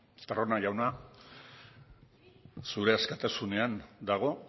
estarrona jauna zure askatasunean dago